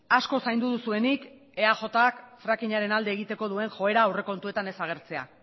asko zaindu duzuenik eajk frakingaren alde egiteko duen joera aurrekontuetan ez agertzea